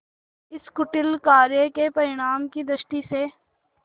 इस कुटिल कार्य के परिणाम की दृष्टि से